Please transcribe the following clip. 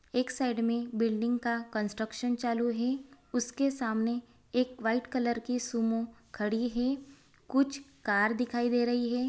एक साइड में बिल्डिंग का कंस्ट्रक्शन चालू है | उसके सामने एक वाइट कलर की सुमो खड़ी हैं | कुछ कार दिखाई दे रही है।